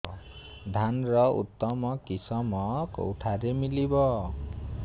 ଧାନର ଉତ୍ତମ କିଶମ କେଉଁଠାରୁ ମିଳିବ